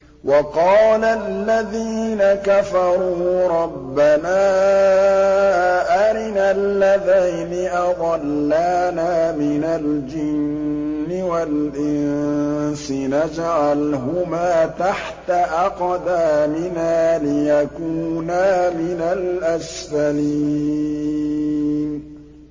وَقَالَ الَّذِينَ كَفَرُوا رَبَّنَا أَرِنَا اللَّذَيْنِ أَضَلَّانَا مِنَ الْجِنِّ وَالْإِنسِ نَجْعَلْهُمَا تَحْتَ أَقْدَامِنَا لِيَكُونَا مِنَ الْأَسْفَلِينَ